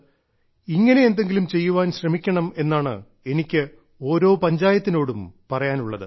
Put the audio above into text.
ഇങ്ങനെ എന്തെങ്കിലും ചെയ്യാൻ ശ്രമിക്കണം എന്നാണ് എനിക്ക് ഓരോ പഞ്ചായത്തിനോടും പറയാനുള്ളത്